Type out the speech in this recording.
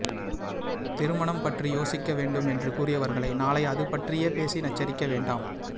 திருமணம் பற்றி யோசிக்க வேண்டும் என்று கூறியவர்களை நாளை அது பற்றியே பேசி நச்சரிக்க வேண்டாம்